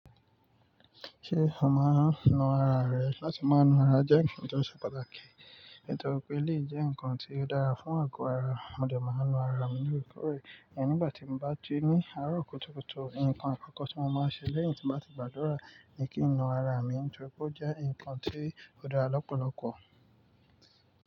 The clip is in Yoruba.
Ṣé o máa ń nu ara rẹ? Látí máa nu ara jẹ́ nkan tó ṣe pàtàkì, torípé lè jẹ́ ǹkan tí ó dára fún àgọ́ ara. Mò dẹ máa ń nu ara mi lóríkòrè, iyen nígbàtí m bá ji ní àárọ̀ kùtùkùtù. Ǹkan àkọ́kọ́ tí mo máa ń ṣe léyìn tí mo bá ti gbàdúrà ni kí n nu ara mi nítorí pé ó jẹ́ ǹkan tí ó dára lọ́pọ̀lọ́pọ̀.